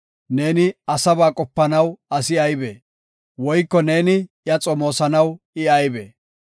neeni asaba qopanaw asi aybee? Woyko neeni iya xomoosanaw I aybee?